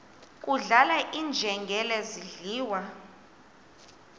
kudlala iinjengele zidliwa